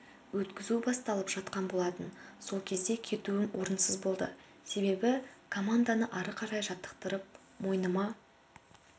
өткізу басталып жатқан болатын сол кезде кетуім орынсыз болды себебі команданы ары қарай жаттықтырып мойныма